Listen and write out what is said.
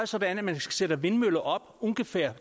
sådan at man sætter vindmøller op